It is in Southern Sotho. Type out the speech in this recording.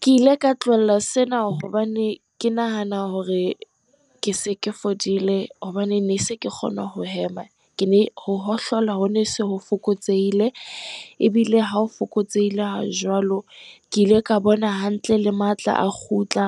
Ke ile ka tlohella sena hobane ke nahana hore ke se ke fodile, hobane ne se ke kgona ho hema, ho hohlola, ho ne se ho fokotsehile, ebile ha o fokotsehile ha jwalo. Ke ile ka bona hantle le matla a kgutla,